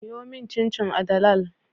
Siyomin cin cin a dalal